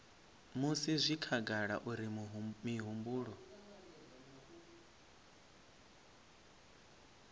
musi zwi khagala uri mihumbulo